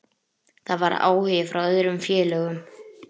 Það var áhugi frá öðrum félögum.